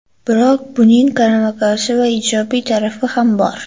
Biroq buning qarama-qarshi va ijobiy tarafi ham bor.